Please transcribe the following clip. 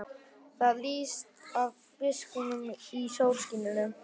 Það lýsti af biskupnum í sólskininu.